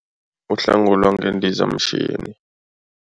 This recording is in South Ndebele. Uhlangulwa ngendizamshini.